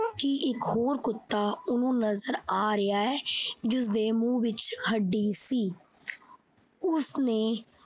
ਕਿ ਇੱਕ ਹੋਰ ਕੁੱਤਾ ਉਹਨੂੰ ਨਜ਼ਰ ਆ ਰਿਹਾ ਹੈ, ਜਿਸਦੇ ਮੂੰਹ ਵਿੱਚ ਹੱਡੀ ਸੀ। ਉਸਨੇ